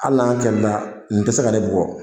Hali n'an kɛlɛla nin tɛ se ka ne bugɔ